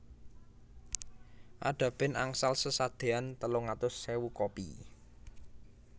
Ada band angsal sesadean telung atus ewu kopi